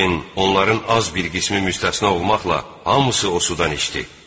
Lakin onların az bir qismi müstəsna olmaqla hamısı da o sudan içdi.